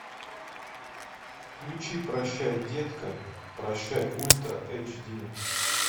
включи прощай детка прощай ультра эйч ди